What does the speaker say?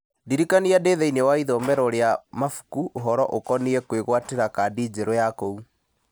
ndirikania ndĩ thĩinĩ wa ithomero rĩa mabuku ũhoro ũkoniĩ kwĩgwatĩra kandi njerũ ya kũu